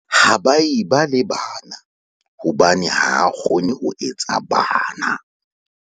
ha ba e ba le bana hobane ha a kgone ho etsa bana